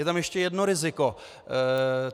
Je tam ještě jedno riziko.